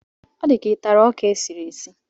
Ọ di ka ị tara ọka e siri esi?